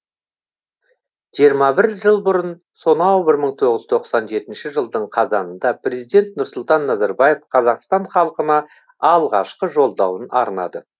жиырма бір жыл бұрын сонау бір мың тоғыз жүз тоқсан жетінші жылдың қазанында президент нұрсұлтан назарбаев қазақстан халқына алғашқы жолдауын арнады